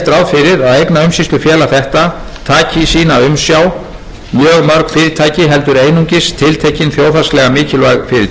fyrir að eignaumsýslufélag þetta taki í sína umsjá mjög mörg fyrirtæki heldur einungis tiltekin þjóðhagslega mikilvæg